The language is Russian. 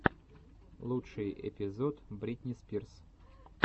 лучший эпизод бритни спирс